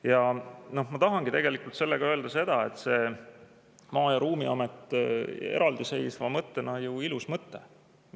Ja ma tahangi tegelikult öelda seda, et see Maa- ja Ruumiamet eraldiseisva mõttena on ju ilus mõte.